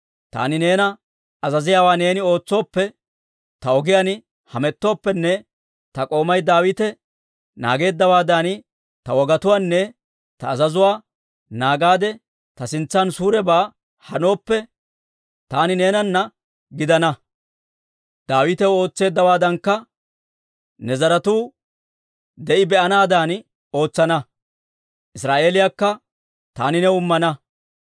Taani neena azaziyaawaa neeni ootsooppe, ta ogiyaan hamettooppenne ta k'oomay Daawite naageeddawaadan ta wogatuwaanne ta azazuwaa naagaade ta sintsan suurebaa hanooppe, taani neenana gidana; Daawitaw ootseeddawaadankka ne zaratuu de'i be'anaadan ootsana; Israa'eeliyaakka taani new immana.